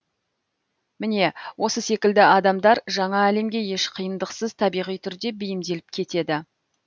міне осы секілді адамдар жаңа әлемге еш қиындықсыз табиғи түрде бейімделіп кетеді